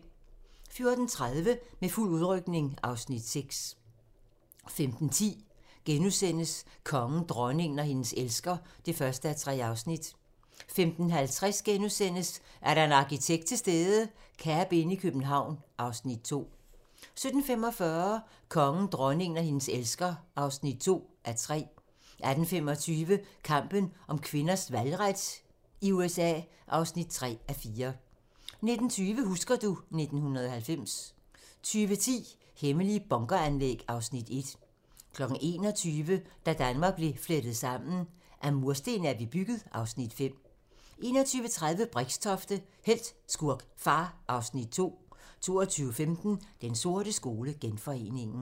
14:30: Med fuld udrykning (Afs. 6) 15:10: Kongen, dronningen og hendes elsker (1:3)* 15:50: Er der en arkitekt til stede? - Cabinn i København (Afs. 2)* 17:45: Kongen, dronningen og hendes elsker (2:3) 18:25: Kampen for kvinders valgret i USA (3:4) 19:20: Husker du ... 1990 20:10: Hemmelige bunkeranlæg (Afs. 1) 21:00: Da Danmark blev flettet sammen: Af mursten er vi bygget (Afs. 5) 21:30: Brixtofte – helt, skurk, far (Afs. 2) 22:15: Den sorte skole: Genforeningen